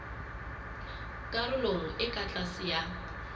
karolong e ka tlase ya